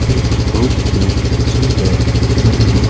एक बहुत ही सुंदर मंदिर--